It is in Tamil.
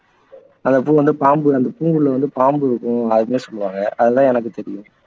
அந்தப்பூ வந்து பாம்பு அந்தப்பூவுல வந்து பாம்பு இருக்கும் அப்படின்னு சொல்லுவாங்க அதுதான் எனக்கு தெரியும்